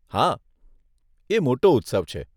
હા, એ મોટો ઉત્સવ છે.